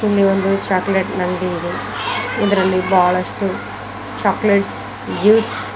ಇಲ್ಲಿ ಒಂದು ಚಾಕ್ಲೇಟ್ ಅಂಗಡಿ ಇದೆ ಇದರಲ್ಲಿ ಬಹಳಷ್ಟು ಚಾಕ್ಲೆಟ್ಸ್ ಜ್ಯೂಸ್ --